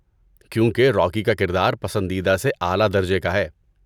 کیونکہ روکی کا کردار پسندیدہ سے اعلیٰ درجے کا ہے۔